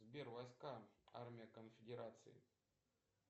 сбер войска армия конфедерации